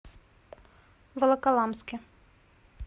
волоколамске